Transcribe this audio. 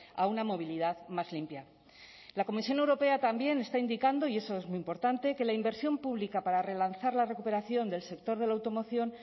a una movilidad más limpia la comisión europea también está indicando y eso es muy importante que la inversión pública para relanzar la recuperación del sector de la automoción